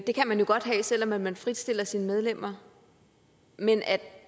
det kan man jo godt have selv om man fritstiller sine medlemmer men at